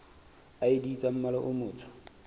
id tsa mmala o motsho